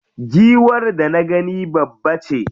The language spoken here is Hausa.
Giwar da na gani babbace.